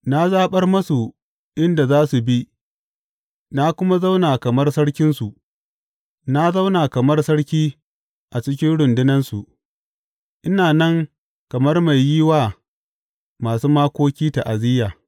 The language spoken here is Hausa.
Na zaɓar masu inda za su bi na kuma zauna kamar sarkinsu; na zauna kamar sarki a cikin rundunansu; ina nan kamar mai yi wa masu makoki ta’aziyya.